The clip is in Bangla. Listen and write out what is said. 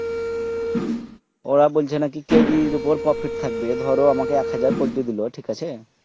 আহ বলছে নাকি কেজির ওপর prefect থাকবে ধরো আমাকে এক হাজার পোল্টি দিলে ঠিক আছে